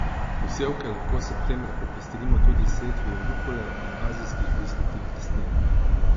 Posevke lahko septembra popestrimo tudi s setvijo rukole in azijskih listnatih rastlin.